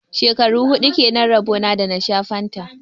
Shekaru hudu kenan rabo na da na sha fanta.